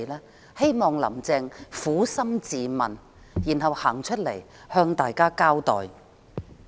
我希望"林鄭"撫心自問，然後走出來向大家交代。